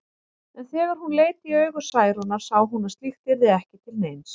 En þegar hún leit í augu Særúnar sá hún að slíkt yrði ekki til neins.